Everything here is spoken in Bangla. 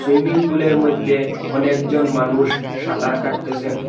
সুইমিং পুলের মইদ্যে অনেকজন মানুষ সাঁতার কাটতেসেন।